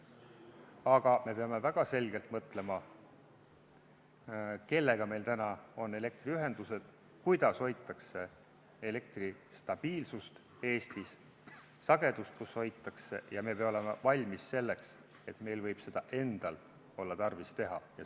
Aga me peame väga selgelt mõtlema, kellega meil on elektriühendused, kuidas hoitakse Eestis elektri stabiilsust ja sagedust, kus seda hoitakse, ja me peame olema valmis selleks, et meil võib olla tarvis seda endal teha.